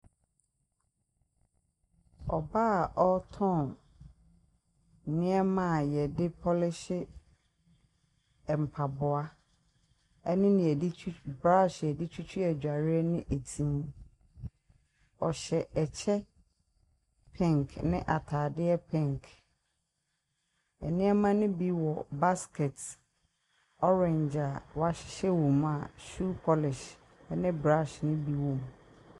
Ɔbaa a ɔretɔn nneɛma a wɔde pɔlehye mpaboa ne nea yɛde twi braahye a wɔde twitwi adwareɛ ne ti mu. Ɔhyɛ kyɛ pink ne atadeɛ pink. Nneɛma no bi wɔ basket orange a wɔahyɛ wɔ mu a shoe polish ne brush no bi wom.